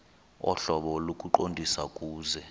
ohlobo lokuqondisa kuse